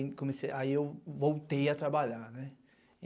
Aí eu voltei a trabalhar, né?